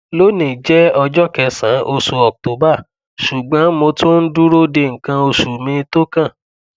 loni jẹ ọjọ kesan osu oct ṣugbọn mo tun n duro de nkan osu mi tókàn